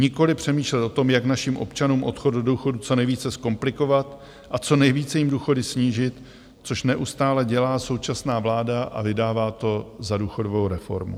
Nikoliv přemýšlet o tom, jak našim občanům odchod do důchodu co nejvíce zkomplikovat a co nejvíce jim důchody snížit, což neustále dělá současná vláda a vydává to za důchodovou reformu.